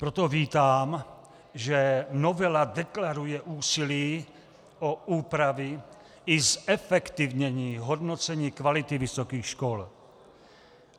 Proto vítám, že novela deklaruje úsilí o úpravy i zefektivnění hodnocení kvality vysokých škol.